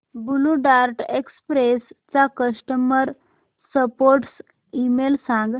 blue Dart Express चा customer support email सांग